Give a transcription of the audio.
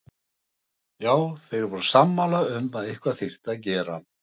Já, þeir voru sammála um að eitthvað þyrfti að gera.